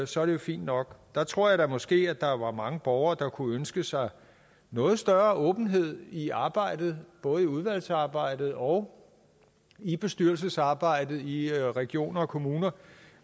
så er det jo fint nok jeg tror da måske at der var mange borgere der kunne ønske sig noget større åbenhed i arbejdet både i udvalgsarbejdet og i bestyrelsesarbejdet i regioner og kommuner